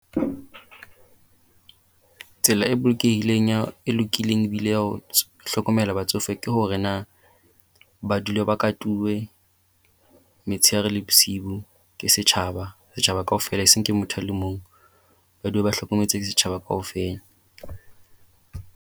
Tsela e bolokehileng ya e lokileng ebile ya ho hlokomela batsofe, ke hore na ba dule ba katuwe metsheare le bosibu ke setjhaba. Setjhaba kaofela e seng ke motho a le mong. Ba dule ba hlokometswe ke setjhaba kaofela.